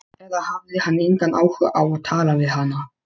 Eða hafði hann engan áhuga á að tala við hana?